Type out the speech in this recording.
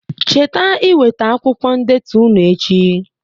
Cheta iweta akwụkwọ ndetu ụnụ echi